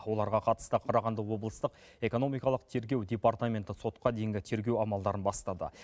оларға қатысты қарағанды облыстық экономикалық тергеу департаменті сотқа дейінгі тергеу амалдарын бастады